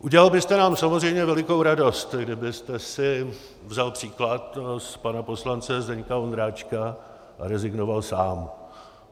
Udělal byste nám samozřejmě velikou radost, kdybyste si vzal příklad z pana poslance Zdeňka Ondráčka a rezignoval sám.